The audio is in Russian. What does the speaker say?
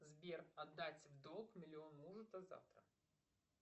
сбер отдать в долг миллион мужу до завтра